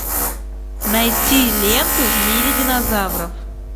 найти ленту в мире динозавров